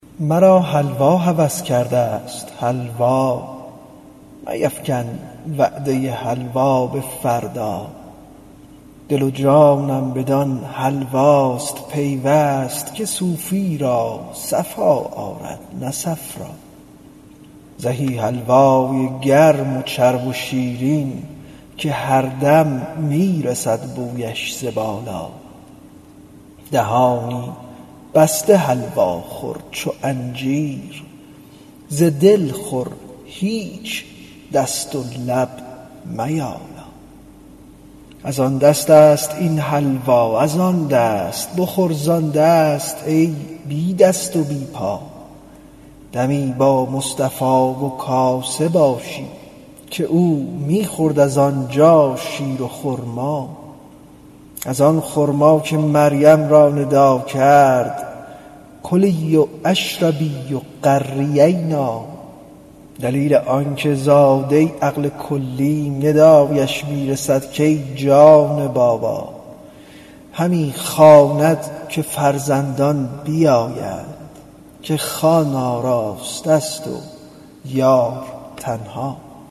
مرا حلوا هوس کردست حلوا میفکن وعده حلوا به فردا دل و جانم بدان حلواست پیوست که صوفی را صفا آرد نه صفرا زهی حلوای گرم و چرب و شیرین که هر دم می رسد بویش ز بالا دهانی بسته حلوا خور چو انجیر ز دل خور هیچ دست و لب میالا از آن دستست این حلوا از آن دست بخور زان دست ای بی دست و بی پا دمی با مصطفا و کاسه باشیم که او می خورد از آن جا شیر و خرما از آن خرما که مریم را ندا کرد کلی و اشربی و قری عینا دلیل آنک زاده عقل کلیم ندایش می رسد کای جان بابا همی خواند که فرزندان بیایید که خوان آراسته ست و یار تنها